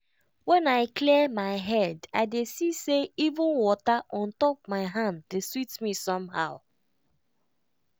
when i clear my head i dey see say even water on top my hand dey sweet me somehow.